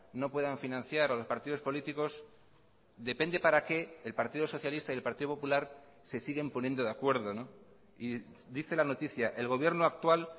no puedan financiar a los partidos políticos depende para qué el partido socialista y el partido popular se siguen poniendo de acuerdo y dice la noticia el gobierno actual